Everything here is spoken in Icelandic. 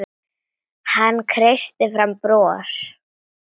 Hann kreisti fram bros.